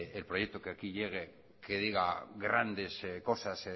el proyecto que aquí llegue que diga grandes cosas